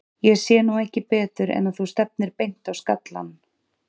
Ég sé nú ekki betur en að þú stefnir beint á skallann.